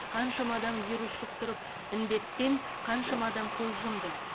қаншама адам вирус жұқтырып індеттен қаншама адам көз жұмды